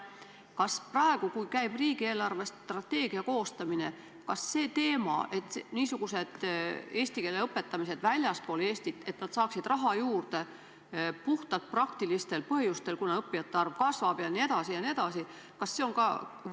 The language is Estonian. Kas praegu, kui käib riigi eelarvestrateegia koostamine, on teil ka sellised teemad nagu eesti keele õpetamine väljaspool Eestit ja sellele raha juurde andmine puhtalt praktilistel põhjustel, kuna õppijate arv kasvab jne, päevakorras?